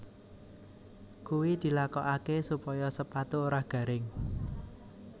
Kuwi dilakokaké supaya sepatu ora garing